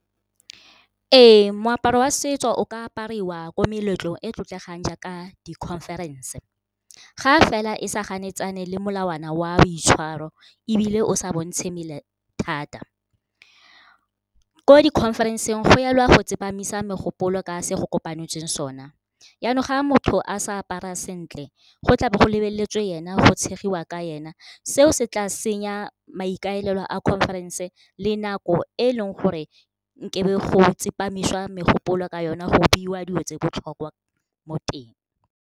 Ee, moaparo wa setso o ka apariwa ko meletlong e e tlotlegang jaaka di-conference ga fela e sa ganetsane le molawana wa boitshwaro, ebile o sa bontshe mmele thata. Ko di-conference-eng go elwa go tsepamisa megopolo ka se go kopanetsweng sona, yanong ga motho a sa apara sentle go tlabo go lebeletswe ena, go tshegiwa ka ena. Seo se tla senya maikaelelo a conference le nako e e leng gore nkebe go tsepamisiwa megopolo ka yona go beiwa dilo tse botlhokwa mo teng.